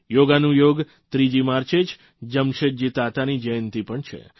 યોગાનુયોગ 3જી માર્ચે જ જમશેદજી તાતાની જયંતિ પણ છે